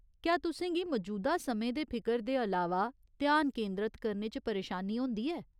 क्या तुसें गी मजूदा समें दे फिकर दे अलावा ध्यान केंदरत करने च परेशानी होंदी ऐ ?